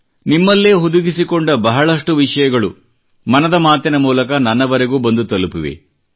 ನಿಮ್ಮಲ್ಲೇ ಹುದುಗಿಸಿಕೊಂಡ ಬಹಳಷ್ಟು ವಿಷಯಗಳು ಮನದ ಮಾತಿನ ಮೂಲಕ ನನ್ನವರೆಗೂ ಬಂದು ತಲುಪಿವೆ